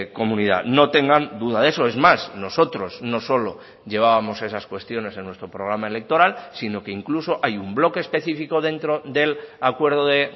comunidad no tengan duda de eso es más nosotros no solo llevábamos esas cuestiones en nuestro programa electoral sino que incluso hay un bloque específico dentro del acuerdo de